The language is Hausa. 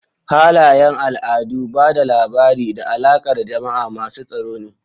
Halayen al'adu, ba da labari, da alaƙar jama'a masu tsaro ne.